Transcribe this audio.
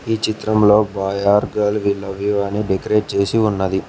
ఈ చిత్రంలో boy or girl we love you అని డెకరేట్ చేసి ఉన్నది.